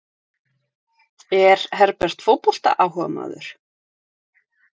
Er Herbert fótboltaáhugamaður?